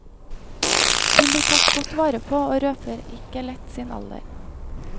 Hun blir tatt godt vare på, og røper ikke lett sin alder.